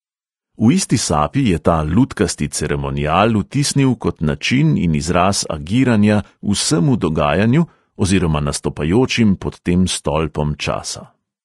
V isti sapi je ta lutkasti ceremonial vtisnil kot način in izraz agiranja vsemu dogajanju oziroma nastopajočim pod tem stolpom časa.